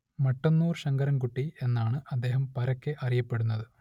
മട്ടന്നൂർ ശങ്കരൻ കുട്ടി എന്നാണ് അദ്ദേഹം പരക്കെ അറിയപ്പെടുന്നത്